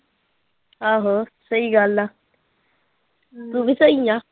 ਆਹੋ ਸਹੀ ਗੱਲ ਆ ਤੂੰ ਵੀ ਸਹੀ ਆਂ।